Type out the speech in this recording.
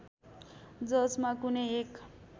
जसमा कुनै एक